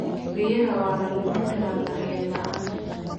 Biyaha waa la lumin karaa daryeel la'aan.